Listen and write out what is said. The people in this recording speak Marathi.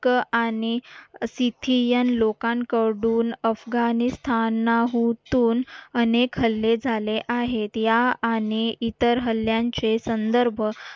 क आणि सिथियन लोकांकडून अफगाणिस्तान नाहून अनेक हल्ले झाले आहेत या आणि इतर हल्ल्यांचे संदर्भ